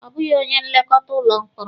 Ọ bụghị onye nlekọta ụlọ mkpọrọ.